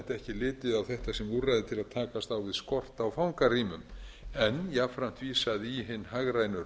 litið á þetta sem úrræði til að takast á við skort á fangarýmum en jafnframt vísað í hin hagrænu